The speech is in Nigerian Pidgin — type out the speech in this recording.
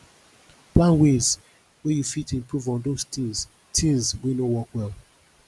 plan ways wey you fit improve on those things things wey no work well